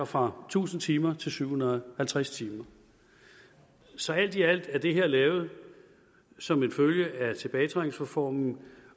fra tusind timer til syv hundrede og halvtreds timer så alt i alt er det her lavet som en følge af tilbagetrækningsreformen